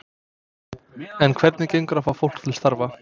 En hvernig gengur að fá fólk til starfa?